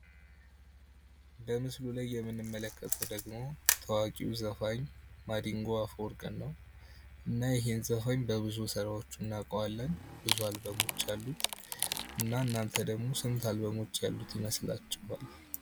በምሱ ላይ የምንመለከተው ደግሞ ታዋቂው ዘፋኝ ማዲንጐ አፈወርቅን ነው። እና ይህን ዘፋኝ በብዙ ስራዎቹ እናቀዋለን። ብዙ አልበሞች አሉት። እና እናንተ ደግሞ ስንት አልበሞች ያሉት ይመስላቸዋል?